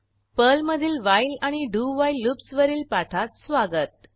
पर्लमधील व्हाईल आणि do while loops वरील पाठात स्वागत